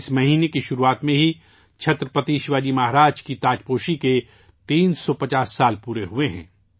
اس مہینے کے آغاز میں ہی چھترپتی شیواجی مہاراج کی تاجپوشی کے 350 سال مکمل ہو گئے ہیں